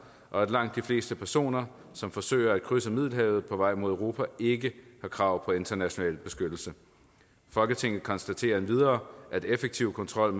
og at langt de fleste personer som forsøger at krydse middelhavet på vej mod europa ikke har krav på international beskyttelse folketinget konstaterer endvidere at effektiv kontrol